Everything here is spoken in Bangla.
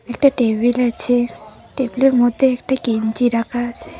একটা টেবিল আছে টেবিলের মধ্যে একটা গেঞ্জি রাখা আছে।